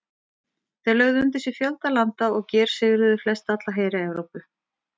Þeir lögðu undir sig fjölda landa og gersigruðu flestalla heri Evrópu.